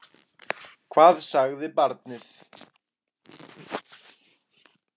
Hvað sagði barnið?